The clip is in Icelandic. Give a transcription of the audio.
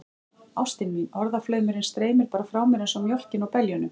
Ástin mín, orðaflaumurinn streymir bara frá mér einsog mjólkin úr beljunum.